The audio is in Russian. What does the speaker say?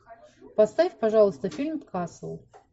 поставь пожалуйста фильм касл